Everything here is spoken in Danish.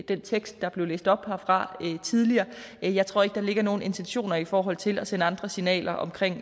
den tekst der blev læst op herfra tidligere jeg tror ikke der ligger nogen intentioner i forhold til at sende andre signaler omkring